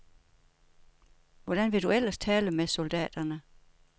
Hvordan vil du ellers tale med soldaterne?